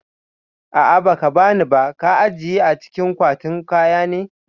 A'ah ba kabani ba, ka ajiye a cikin kwatin kaya ne